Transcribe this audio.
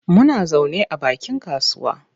Muna zaune a bakin kasuwa.